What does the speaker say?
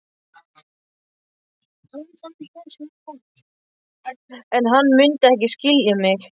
En hann mundi ekki skilja mig.